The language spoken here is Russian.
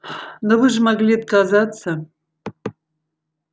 но вы же могли отказаться